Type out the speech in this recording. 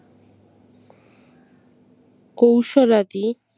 কৌশলাদি